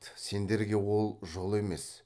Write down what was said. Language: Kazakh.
сендерге ол жол емес